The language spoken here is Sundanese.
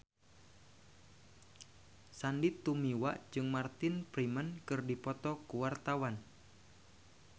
Sandy Tumiwa jeung Martin Freeman keur dipoto ku wartawan